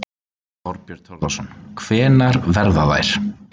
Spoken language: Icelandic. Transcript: Þorbjörn Þórðarson: Hvenær verða þær?